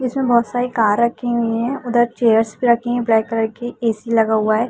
इसमें बहोत सारी कार रखी हुई हैं। उधर चेयर्स भी रखी हुई हैं ब्लैक कलर की। ए सी लगा हुवा है।